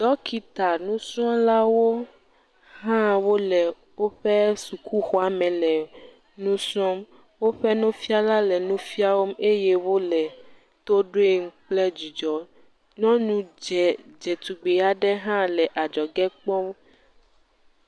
Ɖɔkitanusrɔ̃lawo hã wole woƒe sukuxɔa me le nu srɔ̃m. Woƒe nufiala le nufiam eye wole to ɖoe kple dzidzɔ. Nyɔnu dzẽ dzetugbe aɖe hã le adzɔge kpɔm.